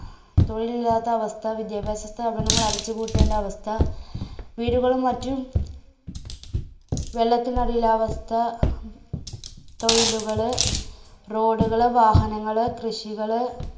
തൊഴിലില്ലാത്ത അവസ്ഥ, വിദ്യാഭ്യാസ സ്ഥാപനങ്ങൾ അടച്ചു പൂട്ടേണ്ട അവസ്ഥ, വീടുകളും മറ്റും വെള്ളത്തിനടിയിലായ അവസ്ഥ, തൊഴിലുകള്, road കള്, വാഹനങ്ങള്, കൃഷികള്